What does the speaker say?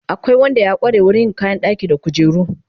Akwai Wanda ya kware wurin yin kayan ɗaki da kujeru